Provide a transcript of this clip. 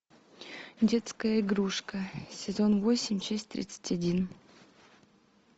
детская игрушка сезон восемь часть тридцать один